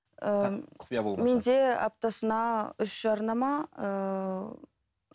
менде аптасына үш жарнама ыыы